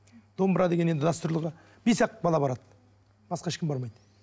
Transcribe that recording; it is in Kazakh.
домбыра деген енді дәстүрлі бес ақ бала барады басқа ешкім бармайды